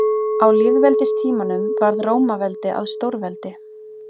Á lýðveldistímanum varð Rómaveldi að stórveldi.